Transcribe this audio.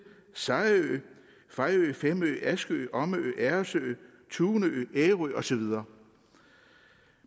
sejerø fejø femø askø omø agersø tunø ærø og så videre